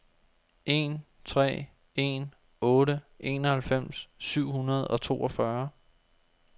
en tre en otte enoghalvfems syv hundrede og toogfyrre